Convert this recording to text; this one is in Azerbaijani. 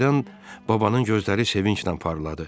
Birdən babanın gözləri sevincilə parladı.